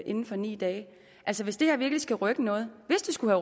inden for ni dage altså hvis det her virkelig skal rykke noget hvis det skulle